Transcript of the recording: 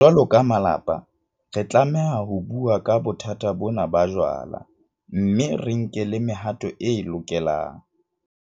Jwalo ka malapa, re tlameha ho bua ka bothata bona ba jwala mme re nke le mehato e lokelang.